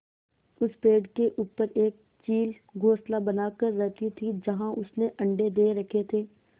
उस पेड़ के ऊपर एक चील घोंसला बनाकर रहती थी जहाँ उसने अंडे दे रखे थे